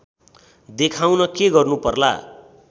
देखाउन के गर्नु पर्ला